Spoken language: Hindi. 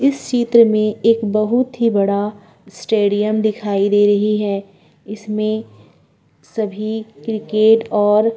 इस क्षेत्र में एक बहुत ही बड़ा स्टेडियम दिखाई दे रही है इसमें सभी क्रिकेट और --